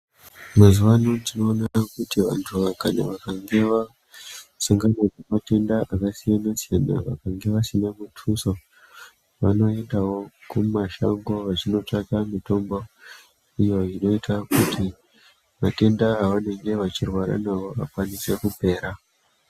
Mazuva ano tinoona kuti vanhu kana vakange vakasangana nematenda akasiyana siyana kana vakange vasina mutuso vanoendawo kumashango vachinotsvake mitombo iyo inoita kuti matenda avanenge vachirwara nawo akasire kupera.